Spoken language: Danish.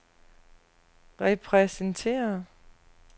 repræsenterer